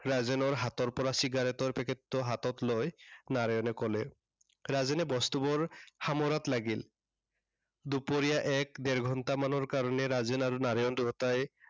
ৰাজেনৰ হাতৰ পৰা cigarette ৰ packet টো হাতত লৈ নাৰায়ণে কলে। ৰাজেনে বস্তুবোৰ সামৰাত লাগিল। দুপৰীয়া এক ডেৰ ঘন্টামানৰ কাৰনে ৰাজেন আৰু নাৰায়ণ দুয়োটাই